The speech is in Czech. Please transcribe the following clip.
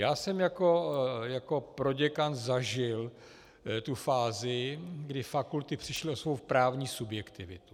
Já jsem jako proděkan zažil tu fázi, kdy fakulty přišly o svou právní subjektivitu.